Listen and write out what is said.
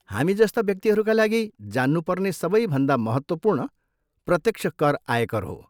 हामी जस्ता व्यक्तिहरूका लागि, जान्नुपर्ने सबैभन्दा महत्त्वपूर्ण प्रत्यक्ष कर आयकर हो।